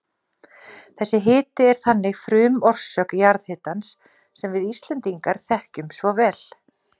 Þessi hiti er þannig frumorsök jarðhitans sem við Íslendingar þekkjum svo vel.